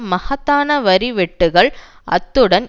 மகத்தான வரி வெட்டுக்கள் அத்துடன்